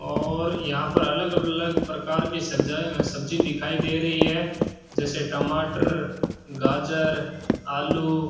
और यहां पर अलग अलग प्रकार की सब्जा सब्जी दिखाई दे रही है जैसे टमाटर गाजर आलू --